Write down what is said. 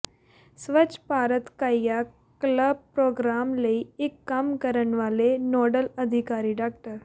ਸਵੱਛ Bharat Kayakalp program ਲਈ ਇਹ ਕੰਮ ਕਰਨ ਵਾਲੇ ਨੋਡਲ ਅਧਿਕਾਰੀ ਡਾ